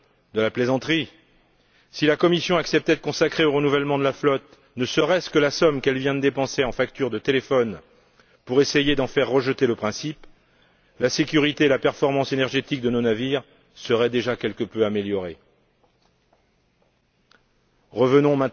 de la plaisanterie si la Commission acceptait de consacrer au renouvellement de la flotte ne serait ce que la somme qu'elle vient de dépenser en facture de téléphone pour essayer d'en faire rejeter le principe, la sécurité et la performance énergétique de nos navires seraient déjà quelque peu améliorée... Revenons